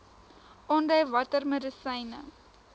aandui watter medisyne